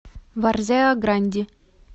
варзеа гранди